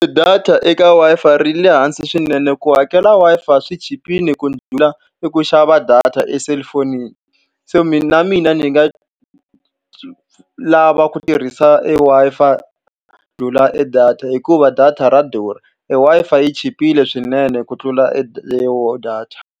Data eka Wi-Fi ri le hansi swinene. Ku hakela Wi-Fi swi chipile ku ndlhula i ku xava data eselulafonini. Se mina ni nga lava ku tirhisa e Wi-Fi ku ndlhula e data hikuva data ra durha e Wi-Fi yi chipile swinene ku tlula e e data.